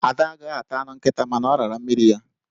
Ada agaghị ata anụ nkịta, mana ọ rara mmiri ya.